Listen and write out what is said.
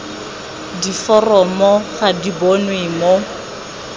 diforomo ga di bonwe mo